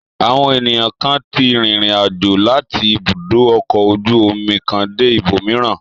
Àwọn ènìyàn kan tí rìnrìn-àjò láti ibùdó ọkọ̀ ojú-omi kan dé ibòmíràn.